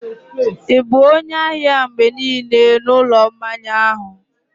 ị bụ onye ahịa mgbe niile n'ụlọ mmanya ahụ?